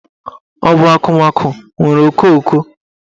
Ọ bụ akụmakụ nwere okooko?